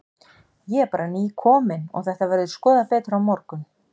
Ég er bara nýkominn og þetta verður skoðað betur á morgun.